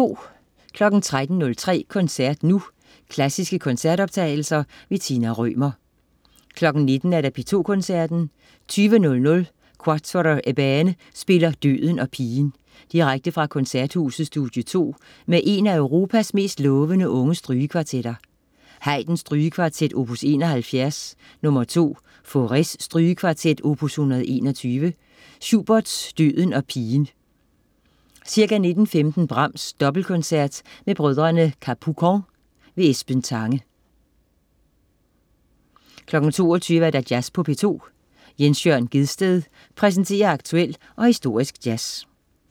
13.03 Koncert nu. Klassiske koncertoptagelser. Tina Rømer 19.00 P2 Koncerten. 20.00 Quatuor Ebène spiller Døden og pigen. Direkte fra Koncerthuset, Studie 2 med en af Europas mest lovende unge strygekvartetter. Haydn: Strygekvartet, opus 71 nr. 2. Fauré: Strygekvartet, opus 121. Schubert: Døden og pigen. Ca. 19.15 Brahms Dobbeltkoncert med brødrene Capucon. Esben Tange 22.00 Jazz på P2. Jens Jørn Gjedsted præsenterer aktuel og historisk jazz